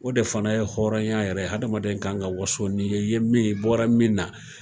O de fana ye hɔrɔnya yɛrɛ ye adamadenya ka kan waso n'i ye min ye, i bɔra min na.